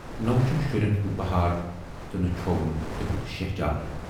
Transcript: نہَ وُچھُن شُرٮ۪ن ہُند بہار تہٕ نہٕ چھووُن تِہُند شیہجار۔